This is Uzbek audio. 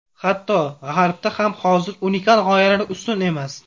Hatto, G‘arbda ham hozir unikal g‘oyalar ustun emas.